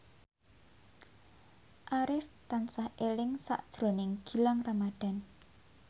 Arif tansah eling sakjroning Gilang Ramadan